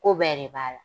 Ko bɛɛ de b'a la